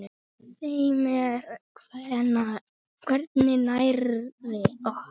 Þeim er hvergi nærri lokið.